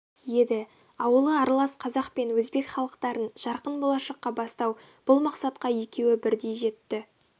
еді ауылы аралас қазақ пен өзбек халықтарын жарқын болашаққа бастау бұл мақсатқа екеуі бірдей жетті